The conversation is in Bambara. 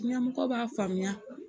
Ɲɛmɔgɔw b'a faamuya